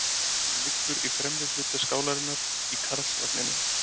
Hún liggur í fremri hluta skálarinnar í Karlsvagninum.